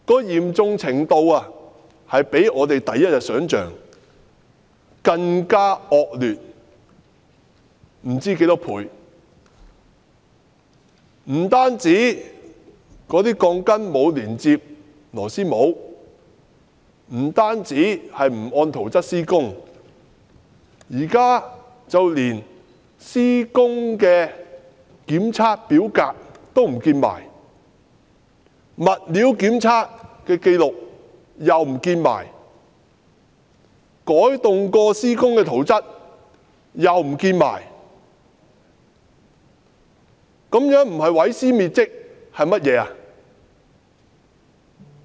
嚴重程度比我們第一天想象的還要惡劣多少倍，不單鋼筋沒有連接螺絲帽，不單沒有按圖則施工，現在連施工檢測表格、物料檢測紀錄和改動後的施工圖則也統統遺失，這不是毀屍滅跡是甚麼？